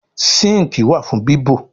sinkii wá fún bibọ.